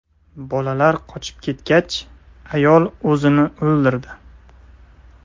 Bolalar qochib ketgach, ayol o‘zini o‘ldirdi.